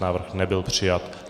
Návrh nebyl přijat.